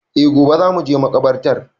E gobe za mu je makabartar